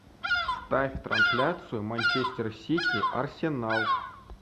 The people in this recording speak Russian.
ставь трансляцию манчестер сити арсенал